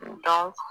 N dɔn